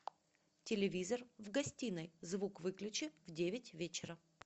телевизор в гостиной звук выключи в девять вечера